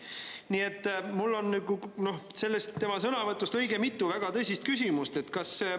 Nii et mul on selle tema sõnavõtu põhjal õige mitu väga tõsist küsimust.